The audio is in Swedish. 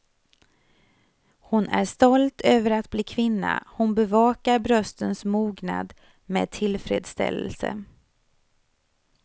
Hon är stolt över att bli kvinna, hon bevakar bröstens mognad med tillfredsställelse.